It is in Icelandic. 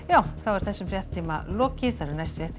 þessum fréttatíma lokið næstu fréttir